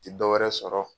Ti dɔwɛrɛ sɔrɔ